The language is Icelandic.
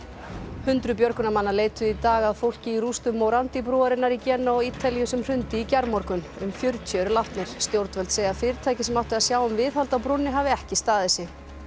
hundruð björgunarmanna leituðu í dag að fólki í rústum morandi brúarinnar í Genúa á Ítalíu sem hrundi í gærmorgun um fjörutíu eru látnir stjórnvöld segja að fyrirtækið sem átti að sjá um viðhald á brúnni hafi ekki staðið sig